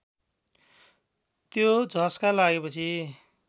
त्यो झस्का लागेपछि